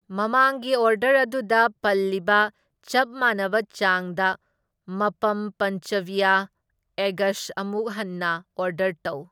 ꯃꯃꯥꯡꯒꯤ ꯑꯣꯔꯗꯔ ꯑꯗꯨꯗ ꯄꯟꯂꯤꯕ ꯆꯞ ꯃꯥꯟꯅꯕ ꯆꯥꯡꯗ ꯃꯄꯝ ꯄꯟꯆꯕꯤꯌ ꯑꯦꯒꯁ ꯑꯃꯨꯛ ꯍꯟꯅ ꯑꯣꯔꯗꯔ ꯇꯧ꯫